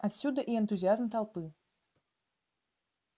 отсюда и энтузиазм толпы